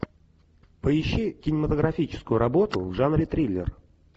поищи кинематографическую работу в жанре триллер